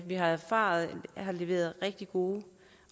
har erfaret har leveret rigtig gode